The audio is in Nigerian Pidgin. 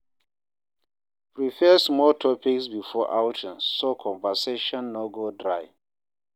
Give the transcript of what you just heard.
Prepare small topics before outing so conversation no go dry.